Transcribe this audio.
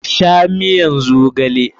Sha miyan zogale!